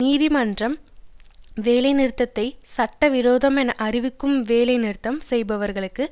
நீதிமன்றம் வேலைநிறுத்தத்தை சட்டவிரோதம் என அறிவிக்கவும் வேலை நிறுத்தம் செய்பவர்களுக்கு